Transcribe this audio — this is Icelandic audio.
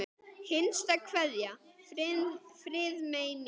HINSTA KVEÐJA Friðmey mín.